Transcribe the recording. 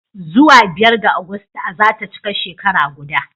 Zuwa biyar ga Agusta za ta cika shekara guda